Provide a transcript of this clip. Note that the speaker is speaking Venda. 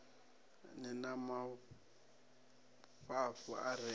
ni na mafhafhu a re